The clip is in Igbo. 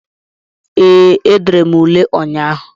Ee, edere m ule ụnyaahụ